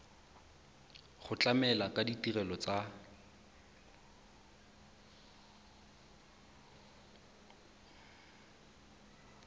go tlamela ka ditirelo tsa